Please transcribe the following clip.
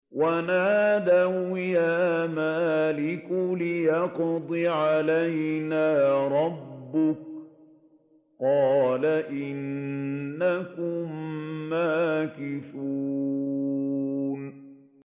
وَنَادَوْا يَا مَالِكُ لِيَقْضِ عَلَيْنَا رَبُّكَ ۖ قَالَ إِنَّكُم مَّاكِثُونَ